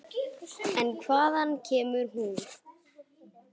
En hvaðan kemur hún?